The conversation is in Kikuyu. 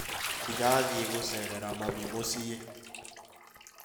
Ndĩrathiĩ gũceerera mami mũciĩ